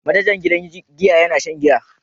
Manajan gidan giya yana shan giya.